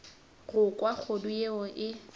go kwa kgodu yeo e